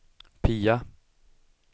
Pia